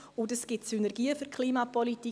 Dies ergibt Synergien für die Klimapolitik.